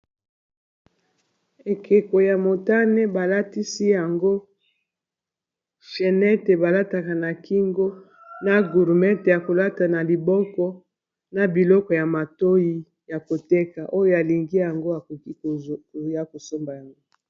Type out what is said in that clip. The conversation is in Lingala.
Ekeko ya motane, balatisi yango chenete balataka na kingo, na gurumete ya kolata na liboko, na biloko ya matoi ya koteka. Oyo alingi yango akoki ya kosomba yango.